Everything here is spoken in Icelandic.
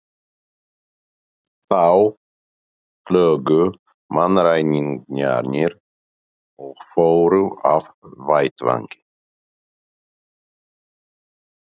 Þá hlógu mannræningjarnir og fóru af vettvangi.